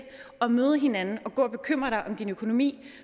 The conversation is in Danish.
at møde hinanden og gå og bekymre dig om din økonomi